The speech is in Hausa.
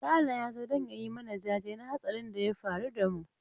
Sale ya zo don ya yi mana jaje na hatsarin da ya faru da mu.